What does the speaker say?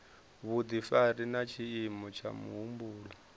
vhudifari na tshiimo tsha muhumbulo